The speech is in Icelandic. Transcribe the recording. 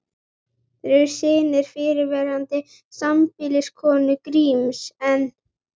Þeir eru synir fyrrverandi sambýliskonu Gríms, en